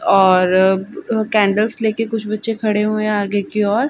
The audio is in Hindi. और ब ब कैंडल्स ले के कुछ बच्चे खड़े हुए है आगे की ओर--